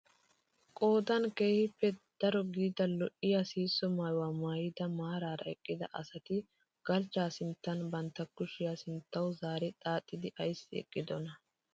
Qoodan keehippe daro gidida lo"iyaa sihisso maayuwaa maayida maarara eqqida asati galchchaa sinttan bantta kushiyaa sinttawu zaari xaaxidi ayssi eqqidonaa?